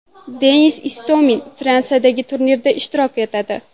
Denis Istomin Fransiyadagi turnirda ishtirok etadi.